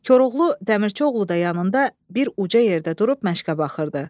Koroğlu, Dəmirçioğlu da yanında bir uca yerdə durub məşqə baxırdı.